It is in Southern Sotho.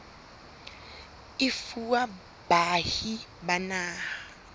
e fuwa baahi ba naha